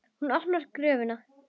Úr opinni gröf.